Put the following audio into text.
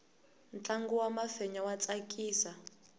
ntlangu wa mafenya wa tsakisa